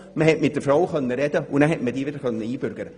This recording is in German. Man konnte mit der Frau sprechen und die Leute einbürgern.